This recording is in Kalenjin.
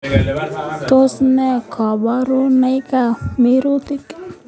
Tos ne koborunaikab mirutik